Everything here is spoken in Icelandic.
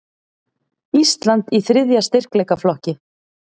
Ísland í þriðja styrkleikaflokki